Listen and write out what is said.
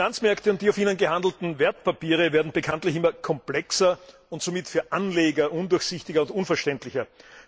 Die Finanzmärkte und die auf ihnen gehandelten Wertpapiere werden bekanntlich immer komplexer und somit für Anleger undurchsichtiger und unverständlicher.